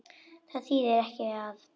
Það þýðir ekki að.